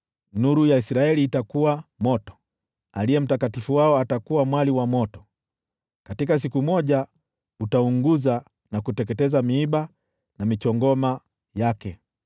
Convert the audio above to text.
Nuru ya Israeli itakuwa moto, Aliye Mtakatifu wao mwali wa moto; katika siku moja utaunguza na kuteketeza miiba na michongoma yake.